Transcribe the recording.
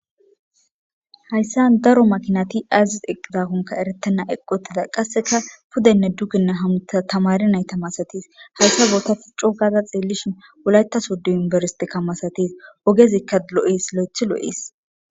Hayssan daro makinati ays eqqidakoka eretena eqqoytika qasseka pudenne dugenne hamotiza tamaare nayta masatiza hayssa bootan coo gada ta xeellishin wolayta sodo yuniverstteka masattes ogezika lo'es.